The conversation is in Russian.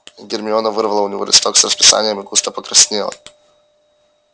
гермиона вырвала у него листок с расписанием и густо покраснела